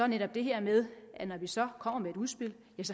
netop det her med at når vi så kommer med et udspil